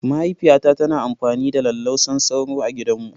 Mahaifiyata tana amfani da lallausan sauro A gidanmu.